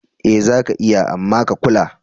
Eh zaka iya, amma a kula.